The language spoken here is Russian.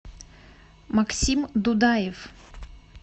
максим дудаев